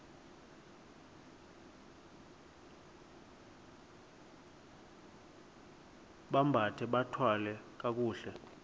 bambathe bathwale kakuhle